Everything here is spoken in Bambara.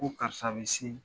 Ko karisa bɛ se